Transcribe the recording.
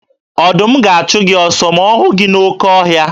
Ọdụm ga-achụ gị ọsọ ma ọ hụ gị n'oke ọhịa.